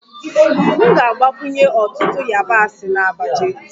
M ga-agbakwunye ọtụtụ yabasị na abacha